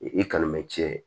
I kalan mɛ cɛ